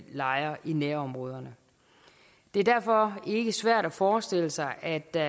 lejre i nærområderne det er derfor ikke svært at forestille sig at der